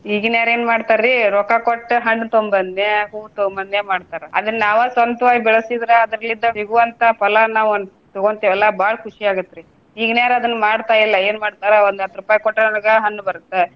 ಇಗಿನಾವ್ರ ಏನ ಮಾಡ್ತಾರಿ ರೊಕ್ಕಾ ಕೊಟ್ಟ ಹಣ್ಣ ತೊಂಬನ್ನೇ, ಹೂವ ತೊಂಬನ್ನೇ ಮಾಡ್ತಾರ ಅದನ್ನ ನಾವ ಸ್ವಂತವಾಗಿ ಬೆಳಸಿದ್ರ ಅದ್ರಲಿಂದ ಸಿಗುವಂತ ಫಲಾನ ನಾವ ತಗೊಂತೆವಲ್ಲ ಬಾಳ್ ಖುಷಿ ಆಗುತ್ರಿ. ಈಗಿನ್ಯಾವ್ರು ಅದನ್ನ ಮಾಡ್ತಾಯಿಲ್ಲ ಏನ್ ಮಾಡ್ತಾರು ಒಂದ ಹತ್ತ್ ರೂಪಾಯಿ ಕೊಟ್ರ ನನಗ ಹಣ್ಣ್ ಬರುತ್ತೆ.